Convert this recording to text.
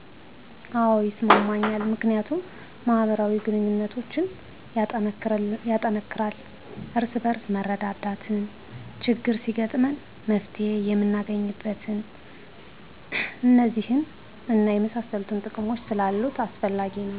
አዎ ይስማማኛል ምክንያቱም ማህበራዊ ግንኙነቶችን ያጠናክራል፣ እርስ በርስ መረዳዳትን፣ ችግር ሲገጥመንም መፍትሔ የምናገኝበት፣ እነዚህን እና የመሳሰሉትን ጥቅሞች ስላሉት አስፈላጊ ነዉ